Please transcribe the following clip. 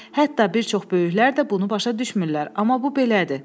Hətta bir çox böyüklər də bunu başa düşmürlər, amma bu belədir.